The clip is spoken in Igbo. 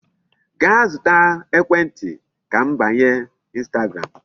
Gaa zụta ekwentị ka m banye Instagram.